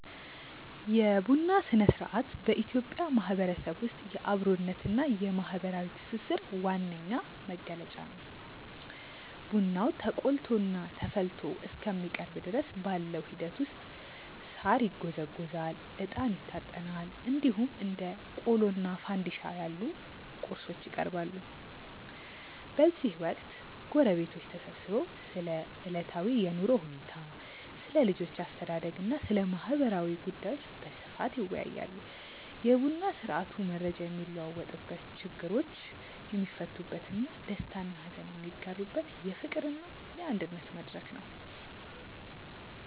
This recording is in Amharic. የቡና ሥነ-ሥርዓት በኢትዮጵያ ማህበረሰብ ውስጥ የአብሮነትና የማህበራዊ ትስስር ዋነኛ መገለጫ ነው። ቡናው ተቆልቶና ተፈልቶ እስከሚቀርብ ድረስ ባለው ሂደት ውስጥ ሳር ይጎዘጎዛል፣ እጣን ይታጠናል፣ እንዲሁም እንደ ቆሎና ፋንድሻ ያሉ ቁርሶች ይቀርባሉ። በዚህ ወቅት ጎረቤቶች ተሰብስበው ስለ ዕለታዊ የኑሮ ሁኔታ፣ ስለ ልጆች አስተዳደግና ስለ ማህበራዊ ጉዳዮች በስፋት ይወያያሉ። የቡና ስርአቱ መረጃ የሚለዋወጥበት፣ ችግሮች የሚፈቱበትና ደስታና ሀዘን የሚጋሩበት የፍቅርና የአንድነት መድረክ ነው።